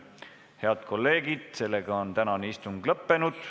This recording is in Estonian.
Head kolleegid, tänane istung on lõppenud.